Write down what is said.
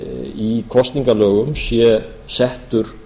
í kosningalögum sé settur